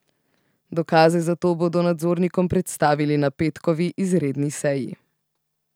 Dokaze za to bodo nadzornikom predstavili na petkovi izredni seji.